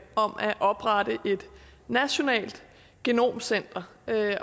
om at oprette et nationalt genomcenter